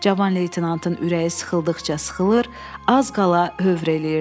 Cavan leytenantın ürəyi sıxıldıqca sıxılır, az qala hövr eləyirdi.